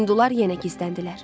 Hindular yenə gizləndilər.